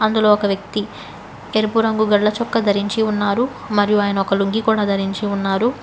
అందులో ఒక వ్యక్తి ఎరుపు రంగు గళ్ళ చొక్కా ధరించి ఉన్నారు మరియు ఆయన ఒక లుంగీ కూడా ధరించి ఉన్నారు.